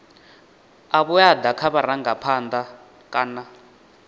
a vhuaḓa kha vharangaphanḓa kana